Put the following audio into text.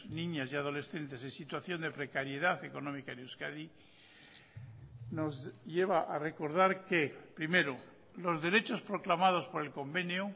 niñas y adolescentes en situación de precariedad económica en euskadi nos lleva a recordar que primero los derechos proclamados por el convenio